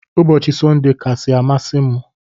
Ụbọchi sunday kasi amasi mu.